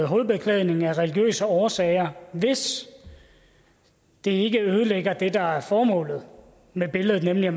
hovedbeklædning af religiøse årsager hvis det ikke ødelægger det der er formålet med billedet nemlig at